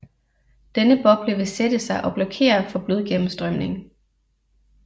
Denne boble vil sætte sig og blokere for blodgennemstrømning